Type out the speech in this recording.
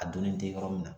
A donni tɛ yɔrɔ min na